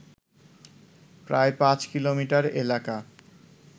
প্রায় পাঁচ কিলোমিটার এলাকা